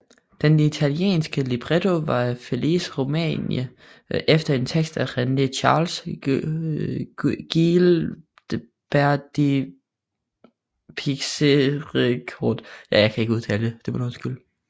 Den italienske libretto var af Felice Romani efter en tekst af René Charles Guilbert de Pixérécourt